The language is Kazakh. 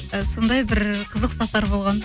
і сондай бір қызық сапар болған